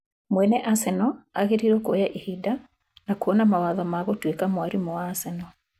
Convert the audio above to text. Mwenye Arsenal agĩrĩrwo kũoya ĩbida na kũona mawatho wa gũtũika mwarimũ wa Arsenal